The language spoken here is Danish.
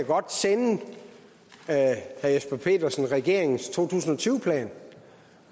godt sende herre jesper petersen regeringens to tusind og tyve plan